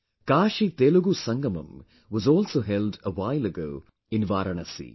KashiTelugu Sangamam was also held a while ago in Varanasi